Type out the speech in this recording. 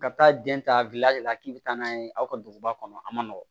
Ka taa den ta la k'i bɛ taa n'a ye aw ka duguba kɔnɔ a man nɔgɔn